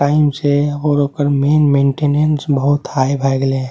Time से और ओकर मैन मेंटेनेंस बहुत हाई भए गेले हेय।